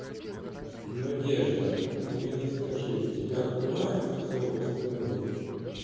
надежда ты мне скажи у тебя открывается все остальное